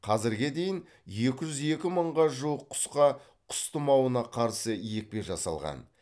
қазірге дейін екі жүз екі мыңға жуық құсқа құс тұмауына қарсы екпе жасалған